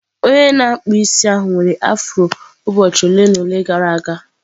Onye na-akpụ isi ahụ nwere afro ụbọchị ole na ole gara aga.